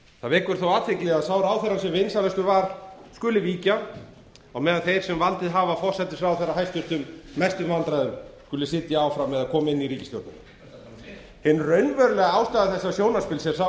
það vekur þó athygli að sá ráðherra sem vinsælastur var skuli víkja en þeir sem valdið hafa forsætisráðherra mestum vandræðum sitja áfram eða koma inn í ríkisstjórnina ertu að tala um mig hin raunverulega ástæða þessa sjónarspils er